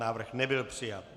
Návrh nebyl přijat.